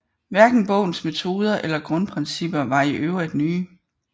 Hverken bogens metoder eller grundprincipper var i øvrigt nye